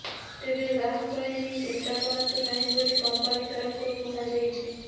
ତେବେ ଗ୍ରାହକ ଏନେଇ ଚିନ୍ତା କରନ୍ତୁ ନାହିଁ ବୋଲି କମ୍ପାନୀ ତରଫରୁ କୁହାଯାଇଛି